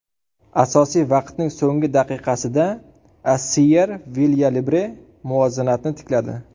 Asosiy vaqtning so‘nggi daqiqasida Assiyer Vilyalibre muvozanatni tikladi.